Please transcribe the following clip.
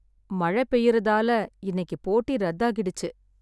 மழை பெய்யுறதால இன்னைக்குப் போட்டி ரத்தாகிடுச்சு.